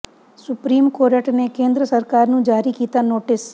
supreme court ਨੇ ਕੇਂਦਰ ਸਰਕਾਰ ਨੂੰ ਜਾਰੀ ਕੀਤਾ ਨੋਟਿਸ